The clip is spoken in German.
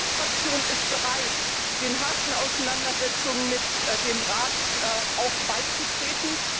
Meine Fraktion ist bereit, den harten Auseinandersetzungen mit dem Rat auch beizutreten.